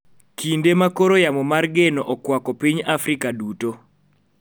Kinde ma koro yamo mar geno okwako piny Afrika duto